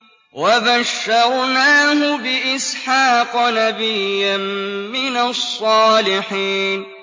وَبَشَّرْنَاهُ بِإِسْحَاقَ نَبِيًّا مِّنَ الصَّالِحِينَ